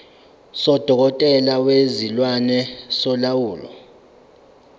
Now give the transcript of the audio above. sodokotela bezilwane solawulo